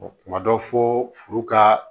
Kuma dɔ fo furu ka